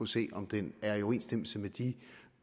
se på om den er i overensstemmelse med de